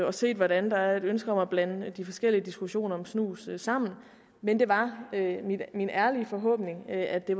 og set hvordan der er et ønske om at blande de forskellige diskussioner om snus sammen men det var min ærlige forhåbning at det